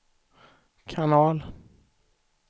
kanal